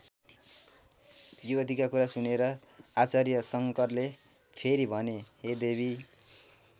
युवतीका कुरा सुनेर आचार्य शङ्करले फेरि भने हे देवी!